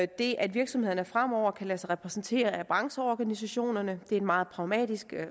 det at virksomhederne fremover kan lade sig repræsentere af brancheorganisationerne det er en meget pragmatisk